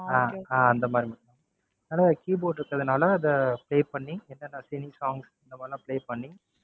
அஹ் அஹ் அந்த மாதிரி தான். அதான் keyboard இருக்குறதுனால அதை play பண்ணி, என்னென்ன cine songs இந்த மாதிரியெல்லாம் play பண்ணி,